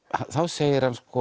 þá segir hann sko